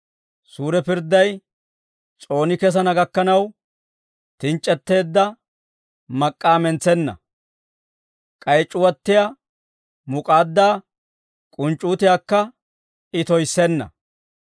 Suure pirdday s'ooni kesana gakkanaw, tinc'c'etteedda mak'k'aa mentsenna; k'ay c'uwattiyaa muk'aaddaa k'unc'c'uutiyaakka I toyissenna.